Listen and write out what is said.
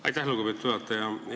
Aitäh, lugupeetud juhataja!